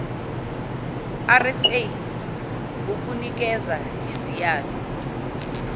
rsa ngokunikeza iziyalo